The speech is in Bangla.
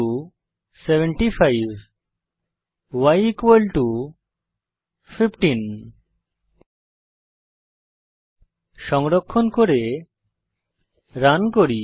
x75y 15 সংরক্ষণ করে রান করুন